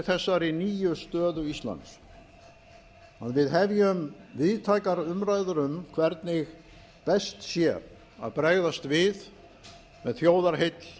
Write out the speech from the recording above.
þessari nýju stöðu íslands að við hefjum víðtækar umræður um hvernig best sé að bregðast við með þjóðarheill